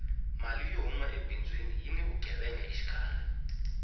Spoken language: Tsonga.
mali yo huma ebindzwini yini vugevenga xikarhi